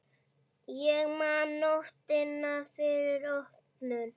Ég man nóttina fyrir opnun.